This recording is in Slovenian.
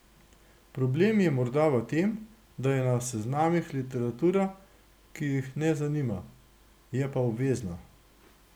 Problem je morda v tem, da je na seznamih literatura, ki jih ne zanima, je pa obvezna.